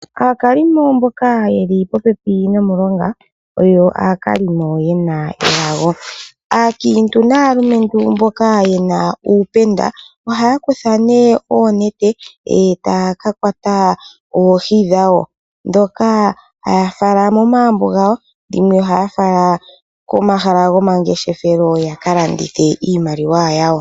Aakalimo mboka yeli popepi nomulonga oyo aakalimo yena elago. Aakiintu naalumentu mboka yena uupenda ohaya kutha nee oonete eetaya ka kwata oohi dhawo dhoka haya fala momagumbo gawo dhimwe ohaya fala komahala gomangeshefelo ya ka landithe iimaliwa yawo.